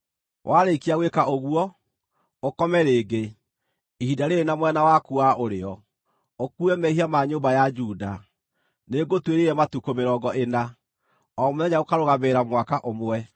“Warĩkia gwĩka ũguo, ũkome rĩngĩ, ihinda rĩĩrĩ na mwena waku wa ũrĩo, ũkuue mehia ma nyũmba ya Juda. Nĩngũtuĩrĩire matukũ mĩrongo ĩna, o mũthenya ũkarũgamĩrĩra mwaka ũmwe.